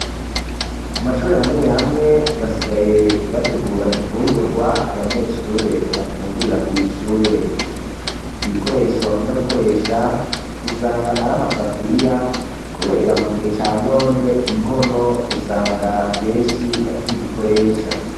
Mu mashure hamwe hamwe basigaye bategura ifungurwa abanyeshure bafungurira kw' ishure, ibikoresho bakunda gukoresha usanga aram'asafuriya kubera mu gihe ca none inkono usanga benshi batakizikoresha.